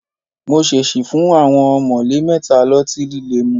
Mo ṣèṣì fún àwọn ọ̀mọ̀lé mẹ́ta lọ́tí líle mu